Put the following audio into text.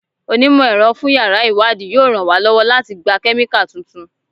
Onímọ̀-ẹ̀rọ fún yàrá ìwádìí yóò ràn wá lọ́wọ́ láti gba Kẹ́míkà tuntun.